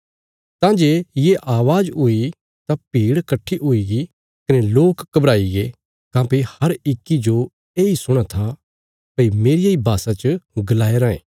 तां जे ये अवाज़ हुई तां भीड़ कट्ठी हुईगी कने लोक घबराईगे काँह्भई हर इक्की जो येई सुणां था भई मेरिया इ भाषा च गलाया रायें